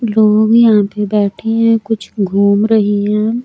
लोग यहां पर बैठे हैं कुछ घूम रहे है।